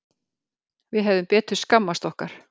Við hefðum betur skammast okkar.